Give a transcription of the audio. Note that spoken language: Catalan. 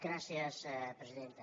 gràcies presidenta